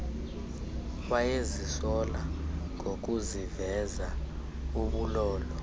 wayezisola ngokuziveza ubulolo